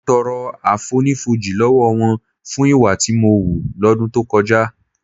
Mo tọrọ àfonífojì lọ́wọ́ wọn fún ìwà tí mo hù lọ́dún tó kọjá